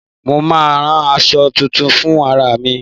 Mo máa rán àṣọ tuntun fún ara mi.